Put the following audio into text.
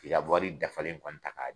K'i ka wari dafalen kɔni ta k'a